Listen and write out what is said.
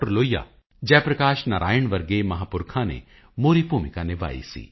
ਲੋਹੀਆ ਜੈ ਪ੍ਰਕਾਸ਼ ਨਾਰਾਇਣ ਵਰਗੇ ਮਹਾਂਪੁਰਖਾਂ ਨੇ ਮੋਹਰੀ ਭੂਮਿਕਾ ਨਿਭਾਈ ਸੀ